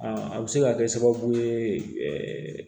a bɛ se ka kɛ sababu ye